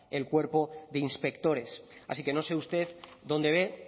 el cuerpo de inspectores así que no sé usted dónde ve